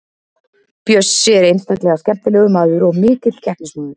Bjössi er einstaklega skemmtilegur maður og mikill keppnismaður.